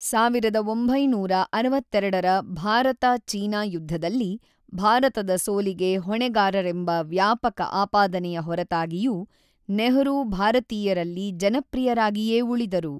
೧೯೬೨ರ ಭಾರತ-ಚೀನಾ ಯುದ್ಧದಲ್ಲಿ ಭಾರತದ ಸೋಲಿಗೆ ಹೊಣೆಗಾರರೆಂಬ ವ್ಯಾಪಕ ಆಪಾದನೆಯ ಹೊರತಾಗಿಯೂ ನೆಹರೂ ಭಾರತೀಯರಲ್ಲಿ ಜನಪ್ರಿಯರಾಗಿಯೇ ಉಳಿದರು.